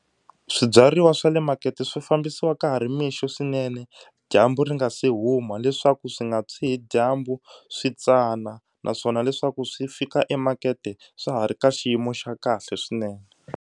Swibyariwa swa le makete swi fambisiwa ka ha ri mixo swinene dyambu ri nga se huma leswaku swi nga tshwi hi dyambu swi tsana naswona leswaku swi fika emakete swa ha ri ka xiyimo xa kahle swinene.